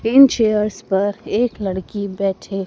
तीन चेयर्स पर एक लड़की बैठे--